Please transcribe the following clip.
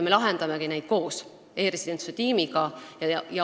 Me lahendame neid koos e-residentsuse tiimiga.